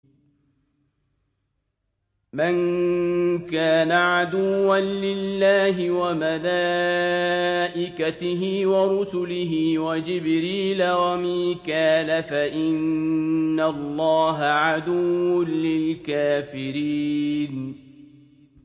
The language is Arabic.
مَن كَانَ عَدُوًّا لِّلَّهِ وَمَلَائِكَتِهِ وَرُسُلِهِ وَجِبْرِيلَ وَمِيكَالَ فَإِنَّ اللَّهَ عَدُوٌّ لِّلْكَافِرِينَ